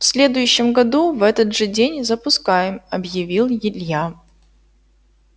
в следующем году в этот же день запускаем объявил илья